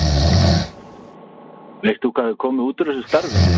Veist þú hvað hefur komið úr úr þessu starfi?